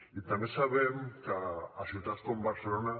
i també sabem que a ciutats com barcelona